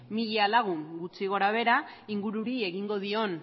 mila lagun gutxi gora behera ingururi egingo dion